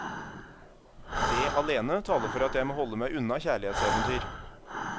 Det alene taler for at jeg må holde meg unna kjærlighetseventyr.